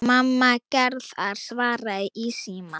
Mamma Gerðar svaraði í símann.